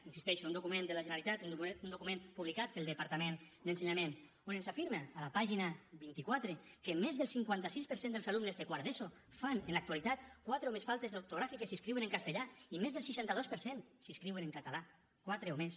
hi insisteixo un document de la generalitat un document publicat pel departament d’ensenyament on ens afirma a la pàgina vint quatre que més del cinquanta sis per cent dels alumnes de quart d’eso fan en l’actualitat quatre o més faltes ortogràfiques si escriuen en castellà i més del seixanta dos per cent si escriuen en català quatre o més